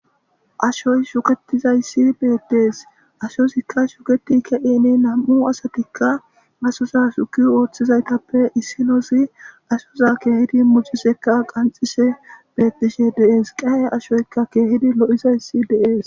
Ashoy shuketizayssi beettees ashozikka shuketi ke7ine nam7u asatikka masoza shuki ooththizaytappe issinozi ashoza keehidi mucisekka qanxishe bettishe deees qa7e ashoykka keehidi lo7izayssi deees.